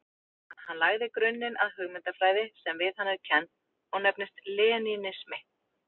Hann lagði grunninn að hugmyndafræði sem við hann er kennd og nefnist lenínismi.